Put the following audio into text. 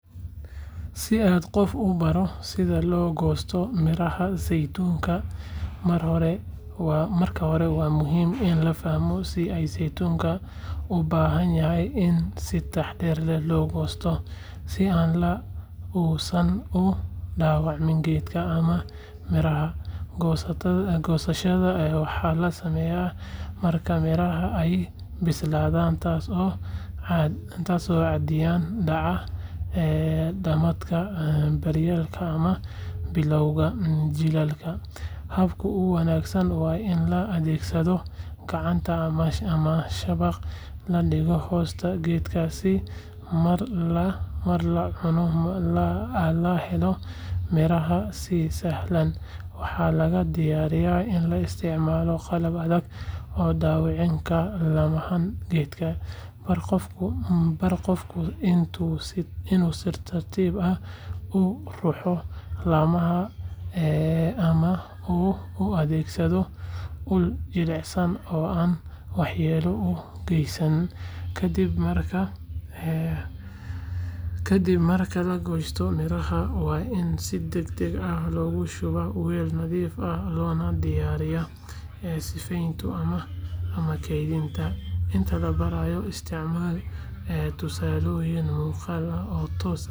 Si aad qof u baro sida loo goosto midhaha saytuunka, marka hore waa muhiim in la fahmo in saytuunku u baahan yahay in si taxadar leh loo goosto si aan la uusan u dhaawacmin geedka ama midhaha. Goosashada waxaa la sameeyaa marka midhaha ay bislaadaan, taas oo caadiyan dhaca dhamaadka dayrta ama bilowga jiilaalka. Habka ugu wanaagsan waa in la adeegsado gacanta ama shabaq la dhigo hoosta geedka si marka la ruxo la helo midhaha si sahlan. Waxaa laga digayaa in la isticmaal qalab adag oo dhaawici kara laamaha geedka. Bar qofka inuu si tartiib ah u ruxo laamaha ama uu u adeegsado ul jilicsan oo aan waxyeelo u geysan. Kadib marka la goosto midhaha, waa in si degdeg ah loogu shubaa weel nadiif ah loona diyaariyaa sifeynta ama kaydinta. Inta la barayo, isticmaal tusaalooyin muuqaal ah oo toos ah.